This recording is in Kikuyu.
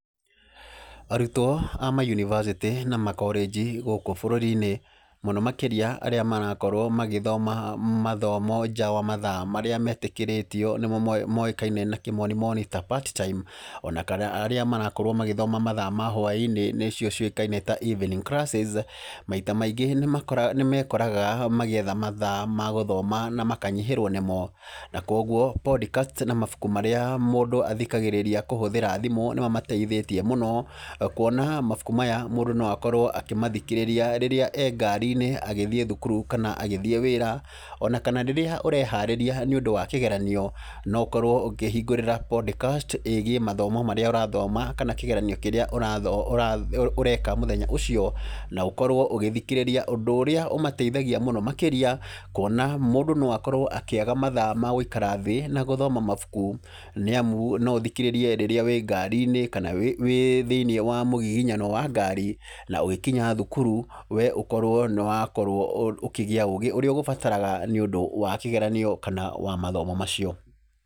Arutwo a ma yunibacĩtĩ na makorĩnji gũkũ bũruri-inĩ, mũno makĩria arĩa marakorwo magĩthoma mathomo nja wa mathaa marĩa metĩkĩrĩtio nĩmo moĩkaine na kĩmonimoni ta [c] part time, ona kana arĩa marakorwo magĩthoma mathaa ma hwaĩ-inĩ nĩmo moĩkaine ta evening classes, maita maingĩ nĩmekoraga magietha mathaa ma gũthoma na makanyihĩrwo nĩmo, na koguo podcast na mabuku marĩa mũndũ athikagĩrĩria kũhũthĩra thimũ nĩmamateithĩtie mũno. Kuona mabuku maya mũndũ no akorwo akĩmathikĩrĩria rĩrĩa e ngari-inĩ, agĩthiĩ thukuru kana agithiĩ wĩra, ona kana rĩrĩa ũreharĩria nĩũndũ wa kĩgeranio, no ũkorwo ũkĩhingũrĩra podcast ĩgiĩ mathomo maria ũrathoma kana kĩgeranio kĩrĩa ũreka mũthenya ũcio, na ũkorwo ũgĩthikĩrĩria ũndũ ũrĩa ũmateithagia mũno makĩria kuona mũndũ no akorwo akĩaga mathaa ma guikara thĩ na guthoma mabuku, nĩ amu no ũthikĩrĩrie rĩrĩa wĩ ngari-inĩ kana wĩ wĩ thĩinĩ mũgiginyano wa ngari, na ũgĩkinya thukuru we ũkorwo nĩwakorwo ũkĩgĩa ũgĩ ũrĩa ũgũbataraga nĩũndũ wa kĩgeranio kana wa mathomo macio.